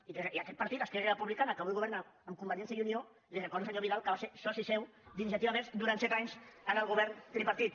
i aquest partit esquerra republica·na que avui governa amb convergència i unió li re·cordo senyor vidal que va ser soci seu d’iniciativa verds durant set anys tripartit